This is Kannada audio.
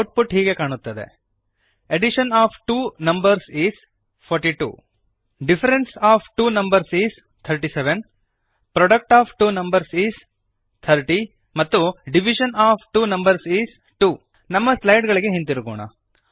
ಔಟ್ಪುಟ್ ಹೀಗೆ ಕಾಣುತ್ತದೆ addition of two numbers is 42 difference of two numbers is 37 product of two numbers is 30 ಮತ್ತು division of two numbers is 2 ನಮ್ಮ ಸ್ಲೈಡ್ ಗಳಿಗೆ ಹಿಂದಿರುಗೋಣ